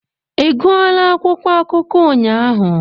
Ị gụọla akwụkwọ akụkọ ụnyaahụ?